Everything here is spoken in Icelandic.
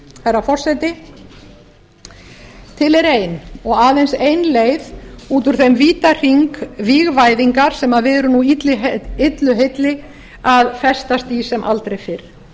herra forseti til er ein og aðeins ein leið út úr þeim vítahring vígvæðingar sem við erum nú illu heilli að festast í sem aldrei fyrr